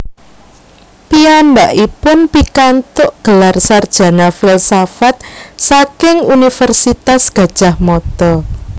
Piyambakipun pikantuk gelar sarjana filsafat saking Universitas Gadjah Mada